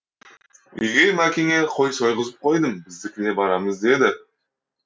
үйге мәкеңе қой сойғызып қойдым біздікіне барамыз деді